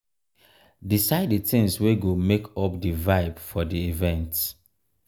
decide the things wey go make up di vibe for di event